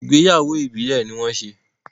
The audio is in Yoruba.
Ìgbéyàwó Ìbílẹ̀ ní wọ́n ṣe.